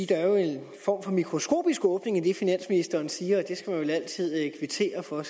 der er en form for mikroskopisk åbning i det finansministeren siger og det skal man vil altid kvittere for